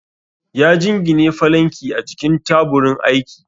ya jingine falanki a jikin taburin aiki